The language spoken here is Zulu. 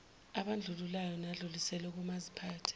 abandlululayo nadluliselwe komaziphathe